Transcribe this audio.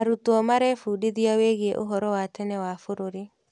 Arutwo marebundithia wĩgiĩ ũhoro wa tene wa bũrũri.